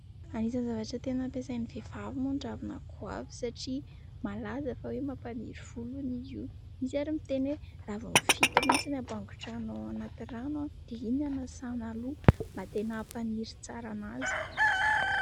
Anisan'ny zavatra tena ampiasain'ny vehivavy moa ny ravina goavy satria malaza fa hoe mampaniry volo hono izy io. Misy ary miteny hoe raviny fito mihitsy no ampangotrahana ao anaty rano, dia iny no anasana loha mba tena hampaniry tsara an'azy.